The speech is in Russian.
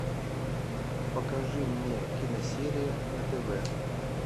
покажи мне киносерия на тв